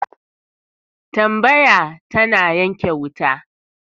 Tambaya tana ranke wuta